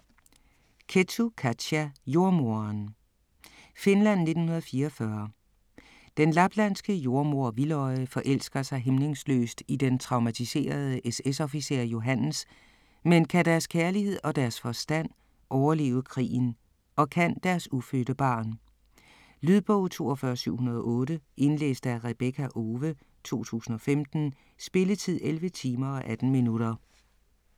Kettu, Katja: Jordemoderen Finland 1944. Den laplandske jordemoder Vildøje forelsker sig hæmningsløst i den traumatiserede SS-officer Johannes, men kan deres kærlighed og deres forstand overleve krigen? Og kan deres ufødte barn? Lydbog 42708 Indlæst af Rebekka Owe, 2015. Spilletid: 11 timer, 18 minutter.